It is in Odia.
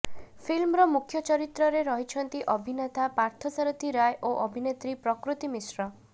ଫିଲ୍ମର ମୁଖ୍ୟ ଚରିତ୍ରରେ ରହିଛନ୍ତି ଅଭିନେତା ପାର୍ଥସାରଥି ରାୟ ଓ ଅଭିନେତ୍ରୀ ପ୍ରକୃତି ମିଶ୍ର